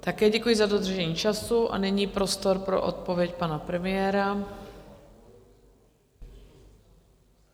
Také děkuji za dodržení času a nyní prostor pro odpověď pana premiéra.